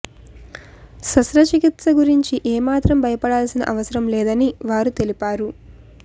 శస్త్ర చికిత్స గురించి ఏ మాత్రం భయపడాల్సిన అవసరం లేదని వారు తెలిపారు